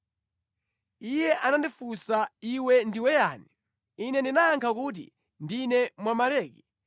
Iye anandifunsa, “Iwe ndiwe yani?” Ine ndinayankha kuti, “Ndine Mwamaleki.”